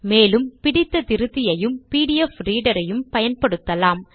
மேலும் பிடித்த திருத்தியையும் பிடிஎஃப் ரீடரையும் பயன்படுத்தலாம்